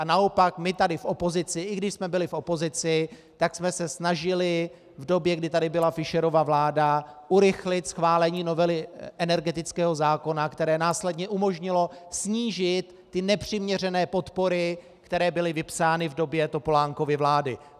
A naopak, my tady v opozici, i když jsme byli v opozici, tak jsme se snažili v době, kdy tady byla Fischerova vláda, urychlit schválení novely energetického zákona, které následně umožnilo snížit ty nepřiměřené podpory, které byly vypsány v době Topolánkovy vlády.